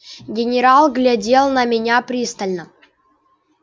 генерал глядел на меня пристально